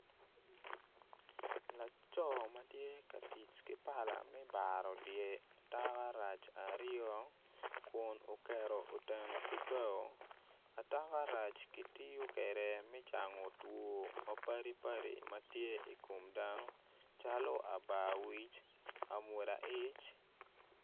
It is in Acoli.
Laco ma tye ka tic ki pala me baro dye atakarac aryo kun oketo oteno ki bao atakarac kitiyo kwede me cango two mapadipadi ma tye i kom dano calo abarwic amwoda ic.